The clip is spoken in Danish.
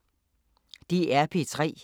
DR P3